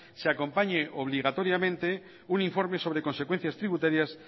se acompañe obligatoriamente un informe sobre consecuencias tributarias